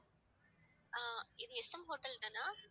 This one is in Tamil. ஆஹ் இது எஸ்எம் ஹோட்டல் தானா